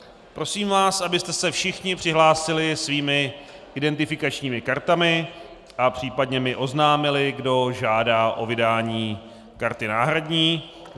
Prosím vás, abyste se všichni přihlásili svými identifikačními kartami a případně mi oznámili, kdo žádá o vydání karty náhradní.